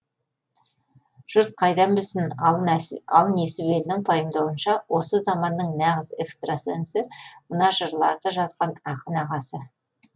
жұрт қайдан білсін ал несібелінің пайымдауынша осы заманның нағыз экстрасенсі мына жырларды жазған ақын ағасы